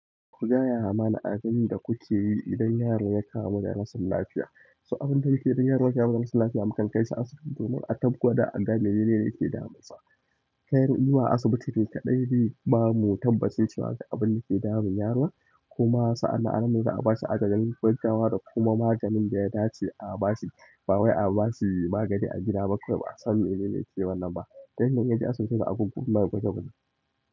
Ku gaya mana abin da kuke yi idan yaro ya kamu da rashin lafiya. So abin da muke yi idan yaro ya kamu da rashin lafiya mukan kai shi asibiti domin a tabbata da abin da yake damunsa. Tayan zuwa asibiti ne kaɗai bamu tabbas cewa ga abunda ke damun yaron, kuma a nan za'a bashi agajin gaggawa da kuma maganin da ya dace a bashi. Ba wai a ba shi magani a gida ba kawai ba a san me nene ke wannan ba. Tayanda kuka je asibiti to a gun kunga kunga.